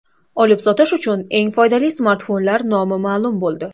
Olib-sotish uchun eng foydali smartfonlar nomi ma’lum bo‘ldi.